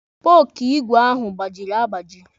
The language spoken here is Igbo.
Spooku igwe ahụ gbajiri agbaji.